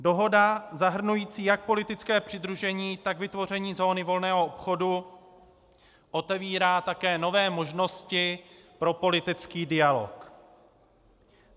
Dohoda zahrnující jak politické přidružení, tak vytvoření zóny volného obchodu otevírá také nové možnosti pro politický dialog.